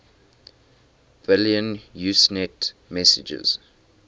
billion usenet messages